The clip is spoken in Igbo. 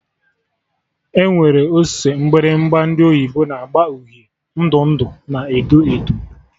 Enwere ose mgbịrịgba ndị oyibo na agba uhie, ndụ ndụ na edo edo